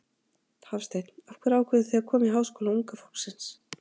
Hafsteinn: Af hverju ákváðuð þið að koma í Háskóla unga fólksins?